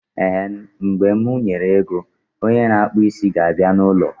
Ehen, mgbe mụ nwere ego, onye na akpụ isi ga abịa na ụlọ